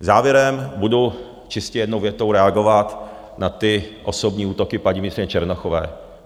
Závěrem budu čistě jednou větou reagovat na ty osobní útoky paní ministryně Černochové.